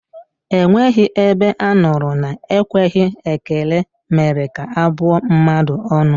Enweghị ebe a nụrụ na ekweghị ekele mere ka a bụọ mmadụ ọnụ